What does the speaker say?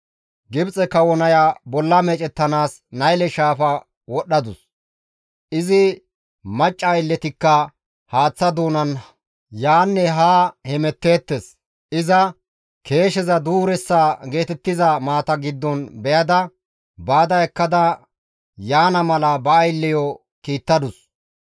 Gibxe kawo naya bolla meecettanaas Nayle shaafa wodhdhadus; izi macca aylletikka haaththa doonan yaanne haa hemetteettes; iza keesheza duureessa geetettiza maata giddon beyada, baada ekkada yaana mala ba aylleyo kiittadus;